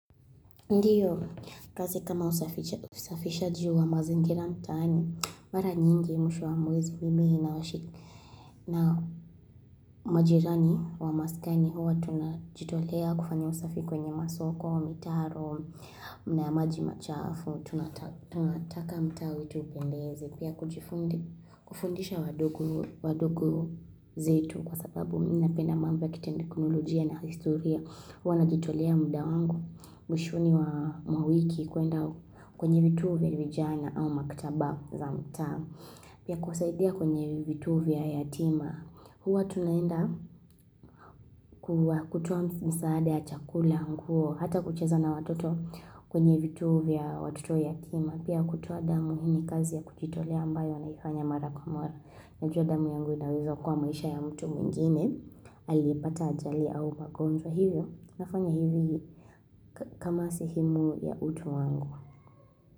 Ndiyo kazi kama usafishaji wa mazingira mtaani, mara nyingi mwisho wa mwezi mimi na majirani wa maskani huwa tunajitolea kufanya usafi kwenye masoko, mitaro, na yamaji machafu, tunataka mtaa wetu upendeze. Pia, kufundisha wadogo zetu kwa sababu mimi napenda mambo ya kitekinolojia na historia. Huwa najitolea muda wangu, mwishoni mwa wiki kuenda kwenye vituo vya vijana au maktaba za mtaa. Pia kusaidia kwenye vituo vya yatima. Huwa tunaenda kutoa msaada ya chakula nguo, hata kucheza na watoto kwenye vituo vya watoto yatima. Pia kutoa damu hii ni kazi ya kujitolea ambayo naifanya mara kwa mwara na jua damu yangu inaweza okoa maisha ya mtu mwingine aliyepata ajali au magonjwa hivyo nafanya hivyo kama sehemu ya utu wangu.